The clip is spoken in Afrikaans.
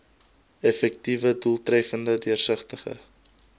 effektiewe doeltreffende deursigtige